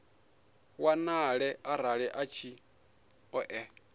wanale arali a tshi ṱoḓea